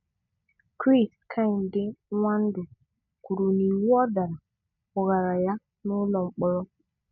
Chris Kehinde Nwandu kwụrụ n'iwu ọ dara, kpugara ya n'ụlọ mkpọrọ.